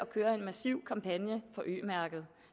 køre en massiv kampagne for ø mærket